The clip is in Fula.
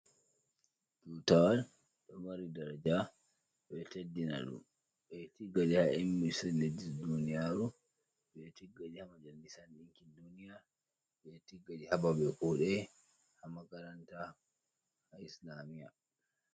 Tutawal ɗo mari daraja ɓe ɗo teddina ɗum ɓeɗo tigga ha irinsu leddi duniyaru, ɓeɗo tiggaɗi ha majallisan ɗinkin duniya . Ɓeɗo tigga ɗum hababe kuɗe ha makaranta ha islamiya.